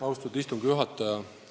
Austatud istungi juhataja!